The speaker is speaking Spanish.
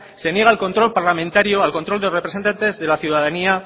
se niega al control parlamentario al control de representantes de la ciudadanía